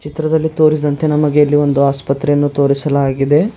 ಚಿತ್ರದಲ್ಲಿ ತೋರಿಸಿದಂತೆ ನಮಗೆ ಇಲ್ಲಿ ಒಂದು ಆಸ್ಪತ್ರೆಯನ್ನು ತೋರಿಸಲಾಗಿದೆ.